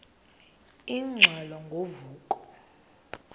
ingxelo ngo vuko